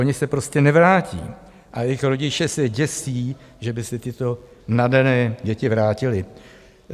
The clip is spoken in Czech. Oni se prostě nevrátí a jejich rodiče se děsí, že by se tyto nadané děti vrátily.